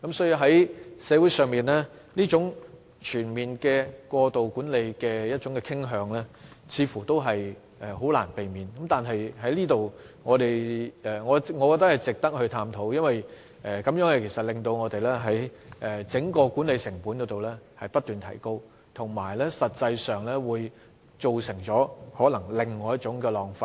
因此，社會出現這種全面過度管理的傾向似乎難以避免，但我認為這方面值得探討，因為過度管理會令整個管理成本不斷提高，且可能會造成另一種浪費。